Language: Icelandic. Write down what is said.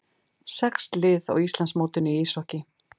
Sex lið á Íslandsmótinu í íshokkíi